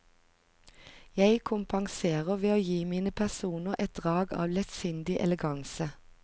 Jeg kompenserer ved å gi mine personer et drag av lettsindig eleganse.